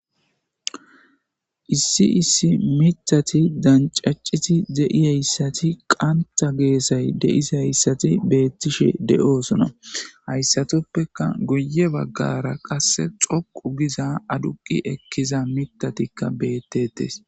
Issi issi mithati dancaciti de'i hayssati qantha geesay deisi hayssati beettishe de'oosona hayssatoppeka goye baggara qasse xoqu giza aduqi ekkiza mitatikka bettetes.